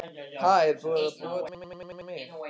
Ha, er búið að búa til annan mig?